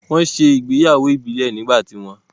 Wọ́n ṣe ìgbéyàwó ìbílẹ̀ nígbà ti wọn